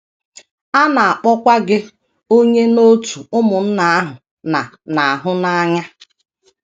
A na - akpọkwa gị onye n’òtù ụmụnna ahụ na - na - ahụ n’anya!